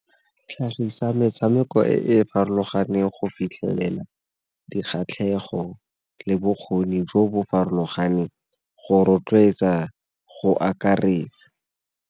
Tlhagisa metshameko e e farologaneng go fitlhelela dikgatlhego le bokgoni jo bo farologaneng go rotloetsa, go akaretsa.